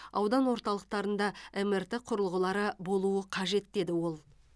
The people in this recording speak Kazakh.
аудан орталықтарында мрт құрылғылары болуы қажет деді ол